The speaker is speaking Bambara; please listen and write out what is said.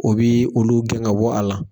O bɛ olu gɛn ka bɔ a la